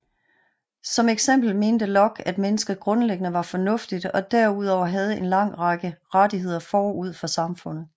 Som eksempel mente Locke at mennesket grundlæggende var fornuftigt og derudover havde en lang række rettigheder forud for samfundet